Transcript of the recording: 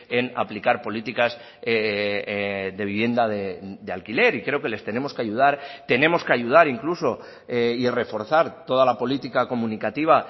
en aplicar políticas de vivienda de alquiler y creo que les tenemos que ayudar tenemos que ayudar incluso y reforzar toda la política comunicativa